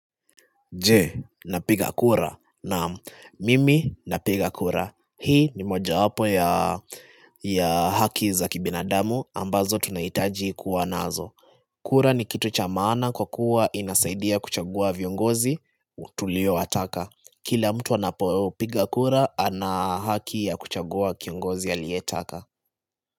Je napiga kura naam, mimi napiga kura. Hii ni mojawapo ya haki za kibinadamu ambazo tunaitaji kuwa nazo. Kura ni kitu cha maana kwa kuwa inasaidia kuchagua viongozi tuliowataka. Kila mtu anapopiga kura ana haki ya kuchagua kiongozi aliyetaka.